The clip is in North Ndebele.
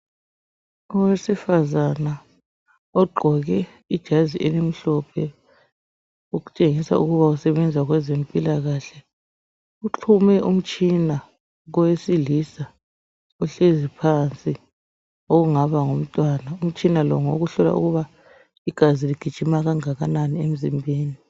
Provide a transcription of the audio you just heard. Owesifazana ogqoke ijazi elimhlophe, okutshengisa ukuba usebenza kwabezempilakahle . Uxhume umtshina kowesilisa ohlezi phansi. Ongaba ngumntwana. Umtshina lo, ngowokuhlola ukuba igazi ligijima kangakanani emzimbeni.